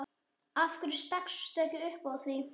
Af hverju stakkstu ekki upp á því?